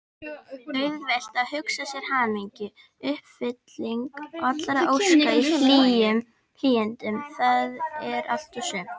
Auðvelt að hugsa sér hamingjuna: uppfylling allra óska í hlýindum, það er allt og sumt!